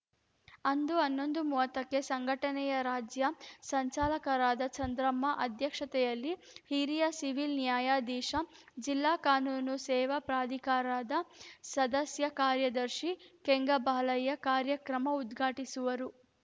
ಅಂದು ಹನ್ನೊಂದು ಮೂವತ್ತಕ್ಕೆ ಸಂಘಟನೆಯ ರಾಜ್ಯ ಸಂಚಾಲಕರಾದ ಚಂದ್ರಮ್ಮ ಅಧ್ಯಕ್ಷತೆಯಲ್ಲಿ ಹಿರಿಯ ಸಿವಿಲ್‌ ನ್ಯಾಯಾಧೀಶ ಜಿಲ್ಲಾ ಕಾನೂನು ಸೇವಾ ಪ್ರಾಧಿಕಾರದ ಸದಸ್ಯ ಕಾರ್ಯದರ್ಶಿ ಕೆಂಗಬಾಲಯ್ಯ ಕಾರ್ಯಕ್ರಮ ಉದ್ಘಾಟಿಸುವರು